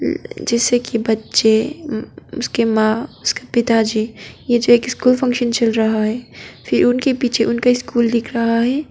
जैसे कि बच्चे अह उसके मां उसके पिता जी यह जो एक स्कूल फंक्शन चल रहा है फिर उनके पीछे उनका स्कूल दिख रहा है।